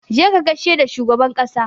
Je ka gaishe da shugaban ƙasa!